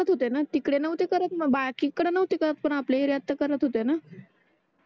करत होतेणा तिकडे नोव्हते करत बाकी तिकडे नोव्हते करत पण आपल्या येरयात तर करत होते णा